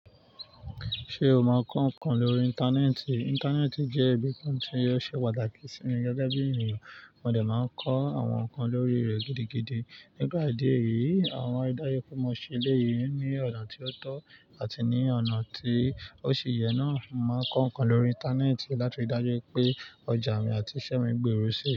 Ṣé o mọ ǹkan kan lórí Íńtánẹ́ẹ̀tì? Íńtánẹ́ẹ̀tì jẹ́ ibi kan tí ó ṣe pàtàkì sí mi gẹ́gẹ́ bí ènìyàn. Wọ́n dẹ̀ máa ń kọ́ àwọn ǹkan lórí rẹ̀ gidigidi. Nípa idi eyìí, àwọn ìdájọ́ kómọ ṣe léyìí ní ọ̀nà tí ó tọ́ àti ní ọ̀nà tí ó ṣe yẹ náà. Mo máa ń kọ́ ǹkan lórí Íńtánẹ́ẹ̀tì láti ri dájú pé ọjà mi àti isẹ́ mi gbòrò si.